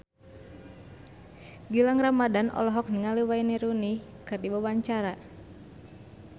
Gilang Ramadan olohok ningali Wayne Rooney keur diwawancara